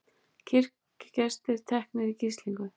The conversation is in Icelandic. Kirkjugestir teknir í gíslingu